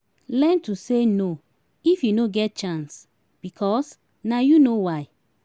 learn to say no if yu no get chance bikos na yu no why